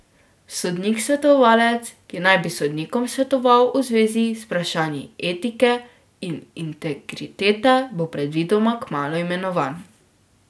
Sodnik svetovalec, ki naj bi sodnikom svetoval v zvezi z vprašanji etike in integritete, bo predvidoma kmalu imenovan.